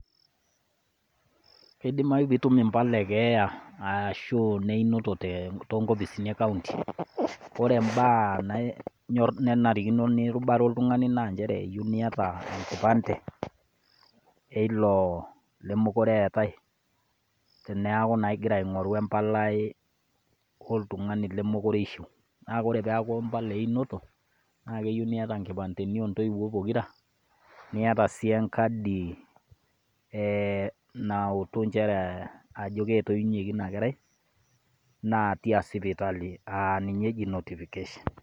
Keidimayu pee itum imbala ekeeya aashu ineyinoto too nkopisini e kaunti ore imbaa nanyorr nenanirikino nirubare oltungani naa njere eyieu niata enkipante eilo lemeekure eetai teneeku naa igira aingoru embalai e oltungani lemeekure eishu. Naa ore peeku imbala einoto, naa keyiu niata ingipandeni oo ntoyiuo pokirra niata sii engadi ee nautu njere ajo kaji etoyiunyikie ina kerai naa tia sipitali aa ninye eji notification.